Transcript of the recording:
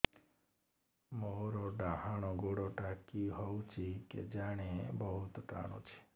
ମୋର୍ ଡାହାଣ୍ ଗୋଡ଼ଟା କି ହଉଚି କେଜାଣେ ବହୁତ୍ ଟାଣୁଛି